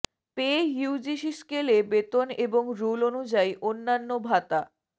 পেঃ UGC স্কেলে বেতন এবং রুল অনু্যায়ী অন্যান্য ভাতা